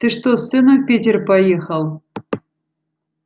ты что с сыном в питер поехал